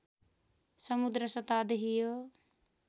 समुद्र सतहदेखि यो